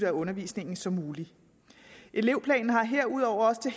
af undervisningen som muligt elevplanen har herudover også til